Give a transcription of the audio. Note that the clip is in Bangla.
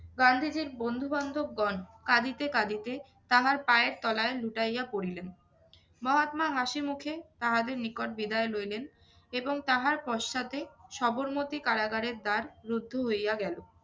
গান্ধীজীর বন্ধু-বান্ধবগণ কাঁদিতে কাঁদিতে তাহার পায়ের তলায় লুটাইয়া পড়িলেন। মহাত্মা হাসি মুখে তাহাদের নিকট বিদায় লইলেন এবং তাহার পশ্চাতে সবরমতি কারাগারের দ্বার রুদ্ধ হইয়া গেলো।